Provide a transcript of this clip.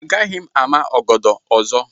Agaghị m ama ọgọdọ ọzọ.